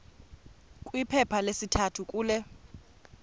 kwiphepha lesithathu kule